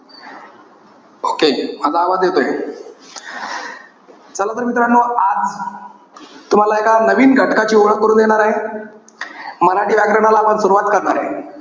Okay. माझा आवाज येतोय. चला, तर मित्रानो आज तुम्हाला एका नवीन घटकाची ओळख करून देणार आहे. मराठी व्याकरणाला आपण सुरवात करणार आहे.